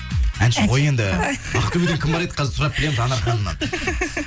әнші ғой енді ақтөбеден кім бар еді қазір сұрап білеміз анар ханымнан